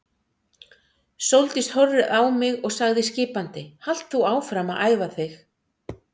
Sóldís horfði á mig og sagði skipandi: Halt þú áfram að æfa þig.